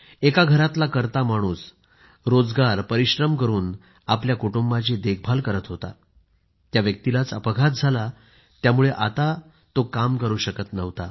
एका घरातला कर्ता माणूस रोजगार परिश्रम करून आपल्या कुटुंबाची देखभाल करत होता त्याच व्यक्तीलाच अपघात झाला यामुळे आता तो काम करू शकत नव्हता